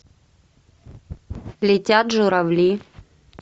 летят журавли